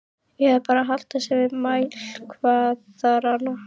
Eða bara halda sig við mælikvarðana?